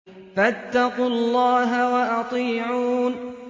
فَاتَّقُوا اللَّهَ وَأَطِيعُونِ